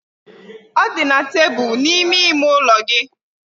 Ọ dị na tebụl n'ime ime ụlọ gị.